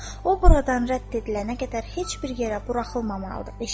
O buradan rədd edilənə qədər heç bir yerə buraxılmamalıdır.